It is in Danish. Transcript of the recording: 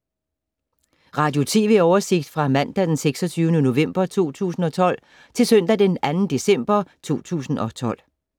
Radio/TV oversigt fra mandag d. 26. november 2012 til søndag d. 2. december 2012